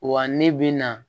Wa ne bi na